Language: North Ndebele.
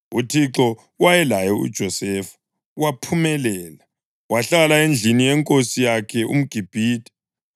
UThixo wayelaye uJosefa, waphumelela, wahlala endlini yenkosi yakhe umGibhithe.